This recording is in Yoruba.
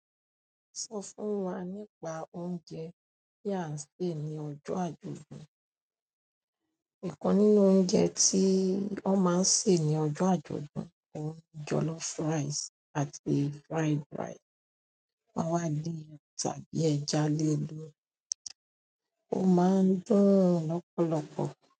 Sọ fún wa nípa oúnjẹ tí a ń sè ní ọjọ́ àjọ̀dún. Ikan nínú oúnjẹ tí wọ́n máa ń sè ní ọjọ́ àjọ̀dún ni jollof rice àti fried rice. Wọ́n máa ń din tàbí ẹja léèlori, ó máa ń dùn lọ́pọ̀lọpọ̀.